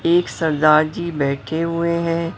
एक सरदार जी बैठे हुए हैं।